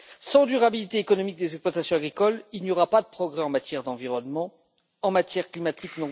Sans durabilité économique des exploitations agricoles, il n'y aura pas de progrès en matière d'environnement, ni en matière climatique.